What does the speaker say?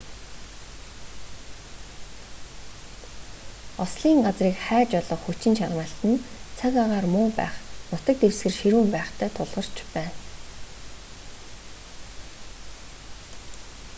ослын газрыг хайж олох хүчин чармайлт нь цаг агаар муу байх нутаг дэвсгэр ширүүн байхтай тулгарч байна